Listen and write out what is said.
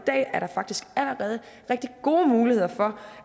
dag er der faktisk allerede rigtig gode muligheder for